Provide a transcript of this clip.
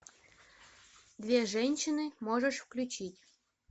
две женщины можешь включить